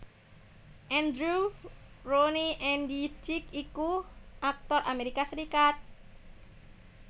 Andrew Roane Andy Dick iku aktor Amerika Serikat